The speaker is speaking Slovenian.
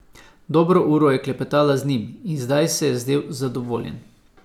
Dobro uro je klepetala z njim in zdaj se je zdel zadovoljen.